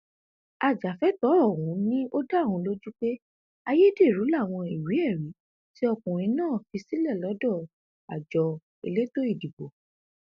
ajàfẹtọọ ọhún ni ó dá òun lójú pé ayédèrú làwọn ìwéẹrí tí ọkùnrin náà fi sílẹ lọdọ àjọ elétò ìdìbò